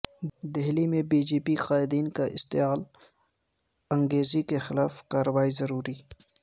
دہلی میں B J P قائدین کی اشتعال انگیزی کے خلاف کارروائی ضروری